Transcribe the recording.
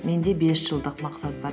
менде бес жылдық мақсат бар